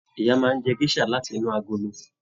Ìyá máa n jẹ gèsà láti inú agolo.